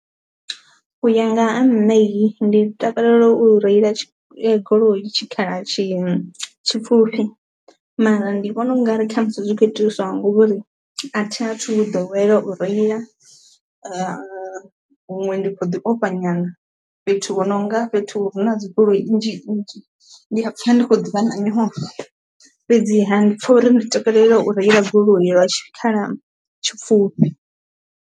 Uya nga ha nṋe hi ndi takalela u reila goloi tshikhala tshi tshipfufhi mara ndi vhona ungari khamusi zwikho itiswa nga ngori a thi athu ḓowela u reila, huṅwe ndi kho ḓi ofha nyana fhethu hu nonga fhethu hu na dzi goloi nnzhi nnzhi ndiya pfha ndi khou ḓivha na nyofho fhedzi ha ndi pfha uri ndi takalela u reila goloi lwa tshikhala tshipfufhi.